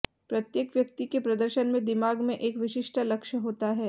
प्रत्येक व्यक्ति के प्रदर्शन में दिमाग में एक विशिष्ट लक्ष्य होता है